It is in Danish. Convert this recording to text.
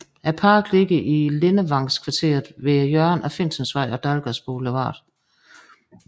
Parken ligger i Lindevangskvarteret ved hjørnet af Finsensvej og Dalgas Boulevard